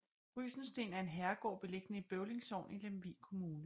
Rysensten er en herregård beliggende i Bøvling Sogn i Lemvig Kommune